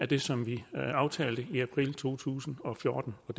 det som vi aftalte i april to tusind og fjorten og